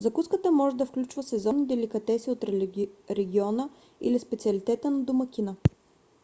закуската може да включва сезонни деликатеси от региона или специалитета на домакина